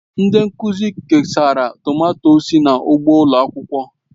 Ndị nkuzi kesara tomato sị n'ugbo ụlọ akwụkwọ.